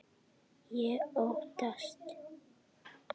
Ég óttast.